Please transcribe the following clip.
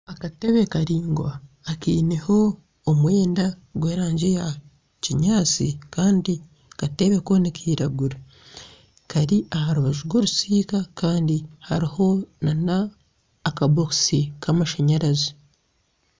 Akatebe karaingwa akaineho omwenda gw'erangi ya kinyaatsi kandi akatebe ko nikiragura kari aha rubaju rw'orusiika kandi hariho n'akabokisi k'amashanyarazi.